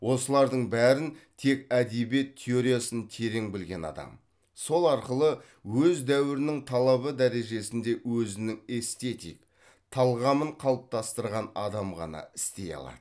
осылардың бәрін тек әдебиет теориясын терең білген адам сол арқылы өз дәуірінің талабы дәрежесінде өзінің эстетик талғамын қалыптастырған адам ғана істей алады